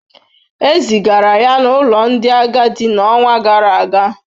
E zigara ya n’ụlọ ndị agadi n’ọnwa gara aga.